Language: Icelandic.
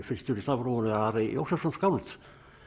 fyrstur í stafrófinu Ari Jósefsson skáld